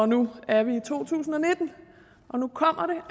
nu er vi i to tusind og nitten og nu kommer